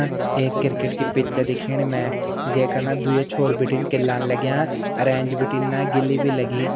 एक क्रिकेट की पिच च दिखेणी मै जैका ना द्विया छोर बिटिन केल्लान लग्या अर एैच बिटिन ना गिल्ली भी लगीं।